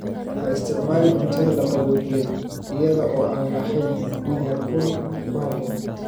Ha isticmaalin cuntada la qaboojiyey iyada oo aan lahayn heerkul ku habboon.